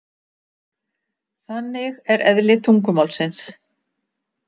Þannig er eðli tungumálsins.